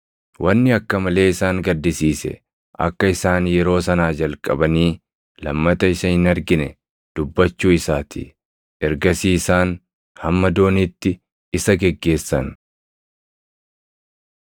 Wanni akka malee isaan gaddisiise akka isaan yeroo sanaa jalqabanii lammata isa hin argine dubbachuu isaa ti. Ergasii isaan hamma dooniitti isa geggeessan.